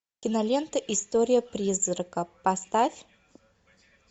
кинолента история призрака поставь